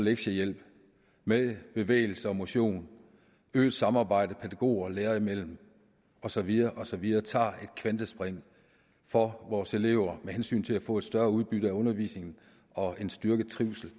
lektiehjælp med bevægelse og motion øget samarbejde pædagoger og lærere imellem og så videre og så videre tager et kvantespring for vores elever med hensyn til at få et større udbytte af undervisningen og en styrket trivsel